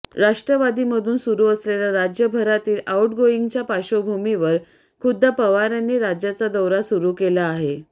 राष्ट्रवादीमधून सुरू असलेल्या राज्यभरातील आउटगोईंगच्या पार्श्वभूमीवर खुद्द पवारांनी राज्याचा दौरा सुरू केला आहे